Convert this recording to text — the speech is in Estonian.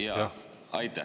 Aitäh!